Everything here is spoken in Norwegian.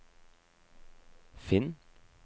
finn